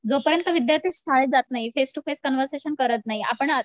जो पर्यंत विद्यार्थी शाळेत जात नाही फेस टू फेस कन्वर्सेशन करत नाही आपण